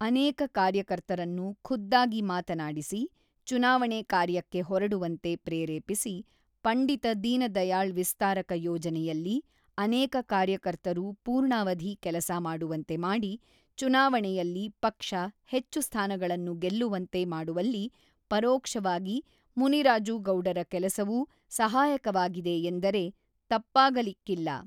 ಅನೇಕ ಕಾರ್ಯಕರ್ತರನ್ನು ಖುದ್ದಾಗಿ ಮಾತನಾಡಿಸಿ ಚುನಾವಣೆ ಕಾರ್ಯಕ್ಕೆ ಹೊರಡುವಂತೆ ಪ್ರೇರೇಪಿಸಿ ಪಂಡಿತ ದೀನದಯಾಳ್ ವಿಸ್ತಾರಕ ಯೋಜನೆಯಲ್ಲಿ ಅನೇಕ ಕಾರ್ಯಕರ್ತರು ಪೂರ್ಣಾವಧಿ ಕೆಲಸ ಮಾಡುವಂತೆ ಮಾಡಿ ಚುನಾವಣೆಯಲ್ಲಿ ಪಕ್ಷ ಹೆಚ್ಚು ಸ್ಥಾನಗಳನ್ನು ಗೆಲ್ಲುವಂತೆ ಮಾಡುವಲ್ಲಿ ಪರೋಕ್ಷವಾಗಿ ಮುನಿರಾಜುಗೌಡರ ಕೆಲಸವೂ ಸಹಾಯಕವಾಗಿದೆ ಎಂದರೆ ತಪ್ಪಾಗಲಿಕ್ಕಿಲ್ಲ.